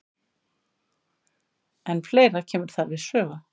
En fleira kemur þar við sögu.